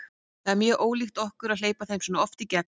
Það er mjög ólíkt okkur að hleypa þeim svona oft í gegn.